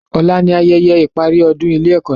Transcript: Ọ̀la ni ayẹyẹ ìparí ọdún ilé ẹ́kọ́ náà